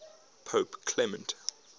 pope clement